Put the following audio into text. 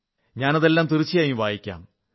ഞാനതെല്ലാം തീർച്ചയായും വായിക്കാം